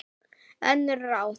Önnur ráð